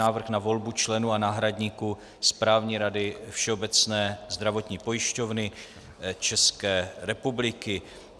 Návrh na volbu členů a náhradníků Správní rady Všeobecné zdravotní pojišťovny České republiky